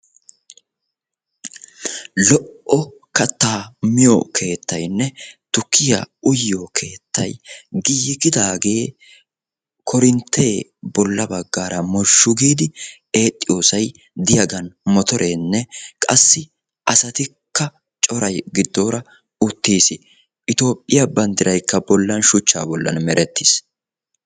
Lo''o kattaa miyo keettaynne tukkiyaa uyiyo keettay giigidaage koorinttee bolla baggaara mozhzhu giidi eexxiyossay diyagan motoreenne qassi asatikka coray giddoora uttiis. Itiyophphiyaa banddiraykka bollan shuchchaa bollan merettiis.